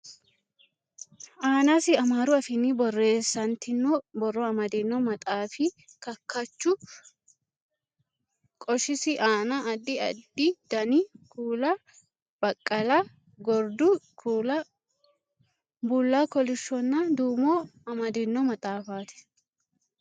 Aanasi amaaru afiinni borreessantino borro amadino maxaafi kakkachu qoshisi aana addi addi dani kuula: baqqala, gordu kuula, bulla kolishshonna duumo amadino maxafaati.